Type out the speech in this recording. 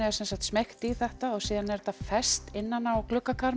er smeygt í þetta og síðan er þetta fest innan á